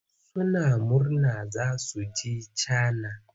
Suna murna za su je Cana.